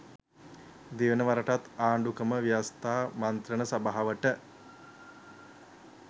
දෙවැනි වරටත් ආණ්ඩු ක්‍රම ව්‍යවස්ථා මන්ත්‍රණ සභාවට